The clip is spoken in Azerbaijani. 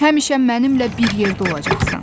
Həmişə mənimlə bir yerdə olacaqsan.